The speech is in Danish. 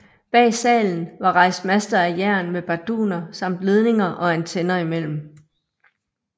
Bag salen var rejst master af jern med barduner samt ledninger og antenner imellem